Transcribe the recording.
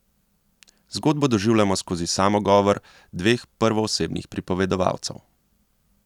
Zgodbo doživljamo skozi samogovor dveh prvoosebnih pripovedovalcev.